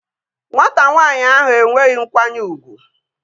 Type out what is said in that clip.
Nwata nwanyị ahụ enweghị nkwanye ugwu